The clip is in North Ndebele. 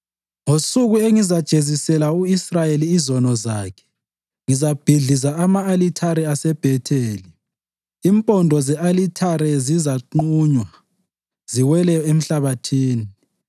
“Ngosuku engizajezisela u-Israyeli izono zakhe ngizabhidliza ama-alithare aseBhetheli; impondo ze-alithare zizaqunywa ziwele emhlabathini.